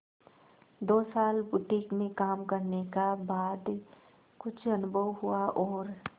दो साल बुटीक में काम करने का बाद कुछ अनुभव हुआ और